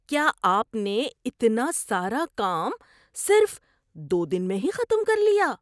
کیا آپ نے اتنا سارا کام صرف دو دن میں ہی ختم کر لیا؟